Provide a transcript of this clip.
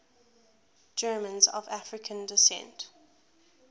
germans of african descent